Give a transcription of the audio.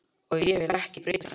Og ég vil ekki breytast strax.